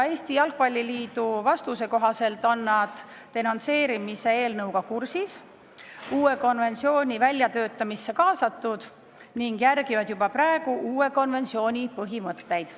Eesti Jalgpalli Liit vastas, et nad on denonsseerimise eelnõuga kursis, uue konventsiooni väljatöötamisse kaasatud ning järgivad juba praegu uue konventsiooni põhimõtteid.